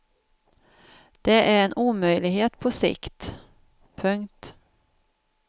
Det är en omöjlighet på sikt. punkt